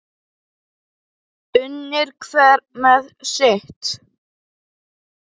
Unir hver með sitt.